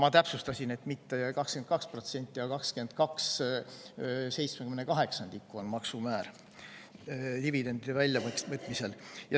Ma täpsustasin, et mitte 22%, vaid 22/78 on maksumäär dividendide väljavõtmisel.